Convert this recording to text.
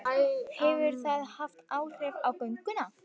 Hefur það haft áhrif á gönguna?